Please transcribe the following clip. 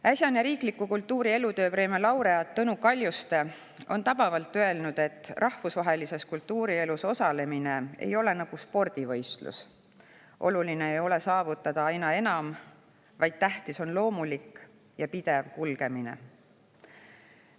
Äsjane kultuuri elutööpreemia laureaat Tõnu Kaljuste on tabavalt öelnud, et rahvusvahelises kultuurielus osalemine ei ole nagu spordivõistlus, oluline ei ole saavutada aina enam, vaid tähtis on loomulik ja pidev kulgemine.